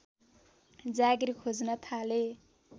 जागिर खोज्न थाले